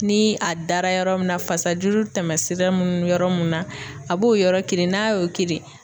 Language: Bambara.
Ni a dara yɔrɔ min na fasajuru tɛmɛsira munnu yɔrɔ mun na a b'o yɔrɔ kirin, n'a y'o kirin